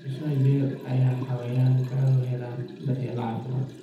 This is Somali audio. Immisa jeer ayay xayawaankaagu helaan daryeel caafimaad?